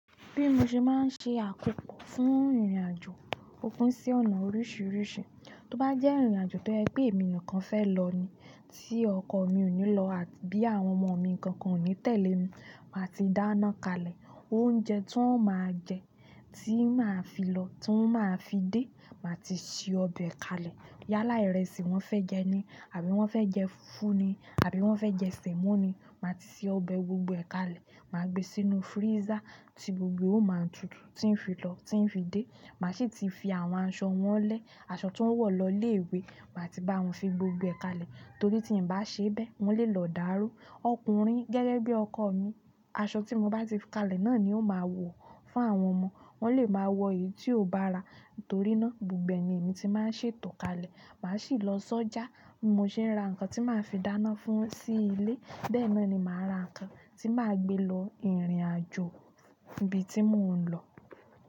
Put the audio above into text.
Bí mo ṣe máa ń ṣe àkókò fún ìrìnàjò, o pín sí ọ̀nà oríṣiríṣi. Tí ó bá jẹ́ ìrìnàjò to je pe emi nìkan fẹ́ lọ ni, tí ọkọ mi ò ní lọ àti bí àwọn ọmọ mi nkankan ò ní tẹ̀lé mi, màá ti dáná kalẹ̀. Oúnjẹ tí wọ́n máa jẹ, tí màá fi lọ, tí máa fi dé, màá ti ṣe ọbẹ̀ kalẹ̀. Yálà ìrẹsì wọ́n fẹ́ jẹ ni àbí wọ́n fẹ́ jẹ fúfú ni àbí wọ́n fẹ́ jẹ sẹ̀mọ́ ni, màá ti ṣe ọbẹ̀ gbogbo ẹ̀kalẹ̀, màá gbe sínú freezer tí gbogbo ó máa tutù tí ń fi lọ, tí ń fi dé. Màá sì ti fi àwọn aṣọ wọn lẹ́, aṣọ tí wọ́n wọ̀ lọ ilé ìwé, màá ti bá wọn fi gbogbo ẹ̀ kalẹ̀. To ri ti n ba se be, won le lo daru ọkùnrin gẹ́gẹ́ bi ọkọ mi, aṣọ ti mo ba ti fi kalẹ̀ náà ni yóò maa wo fún àwọn ọmọ. Wọ́n lè máa wọ èyí tí ò bára torí náà gbogbo ẹ̀ ni èmi ti máa ń ṣètò kalẹ̀. Màá sì lọ sọ́jà, bi mo se ń ra nǹkan tí màá fi dáná fún sí ilé. Bẹ́ẹ̀ náà ni màá ra nǹkan tí màá gbé lọ ìrìnàjò ibi tí mò ń lọ.